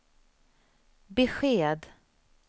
besked